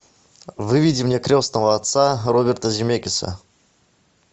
выведи мне крестного отца роберта земекиса